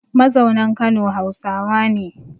Mazaunan Kano Hausawa ne